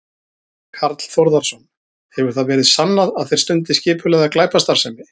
Karl Þórðarson: Hefur það verið sannað að þeir stundi skipulagða glæpastarfsemi?